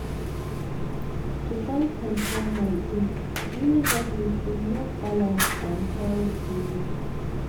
to find time plan my day really help me feel more balanced and healthy.